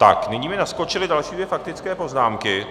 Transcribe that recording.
Tak nyní mi naskočily další dvě faktické poznámky.